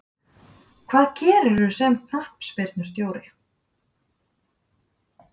Hvað gerirðu sem knattspyrnustjóri